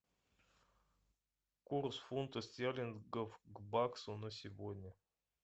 курс фунта стерлингов к баксу на сегодня